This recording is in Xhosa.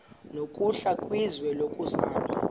nokuhle kwizwe lokuzalwa